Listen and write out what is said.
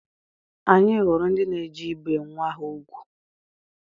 Anyị hụrụ ndị na-eje ibe nwa ha nwoke ugwu